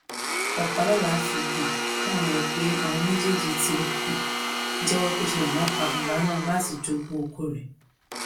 ọpàlọla fi um kún ọrọ rẹ pé àwọn méjèèjì ti um jẹwọ pé ṣe làwọn pa bàbá náà láti jogún ọkọ rẹ